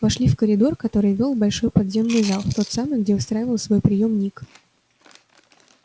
вошли в коридор который вёл в большой подземный зал в тот самый где устраивал свой приём ник